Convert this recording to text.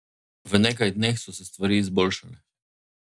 V nekaj dneh so se stvari izboljšale.